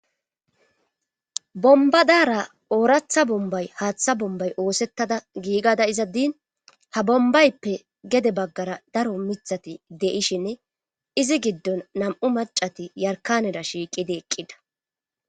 bombadara ooratha bombay haaththa bombay oosettada giigada izaddin ha bombayppe gede baggara daro mithati deishinne izi giddon nam7u macati yarkaneda shiiqidi eqqida